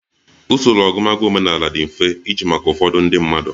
Usoro ọgụgụ omenala di mfe iji maka ụfọdụ ndị mmadụ.